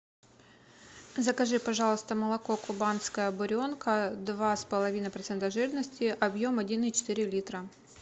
закажи пожалуйста молоко кубанская буренка два с половиной процента жирности объем один и четыре литра